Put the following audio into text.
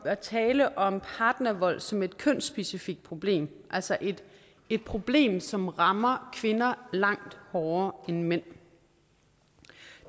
at tale om partnervold som et kønsspecifikt problem altså et et problem som rammer kvinder langt hårdere end mænd